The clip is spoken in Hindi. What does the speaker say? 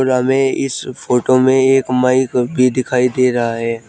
हमें इस फोटो में एक माइक भी दिखाई दे रहा है।